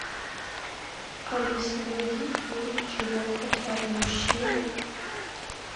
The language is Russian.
алиса найди фильм чего хотят мужчины